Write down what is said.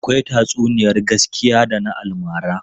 Akwai tatsuniyar gaskiya da na almara.